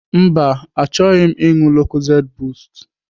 Mba, achọghị m ịṅụ lokozed bost.